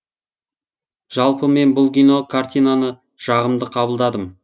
жалпы мен бұл кино картинаны жағымды қабылдадым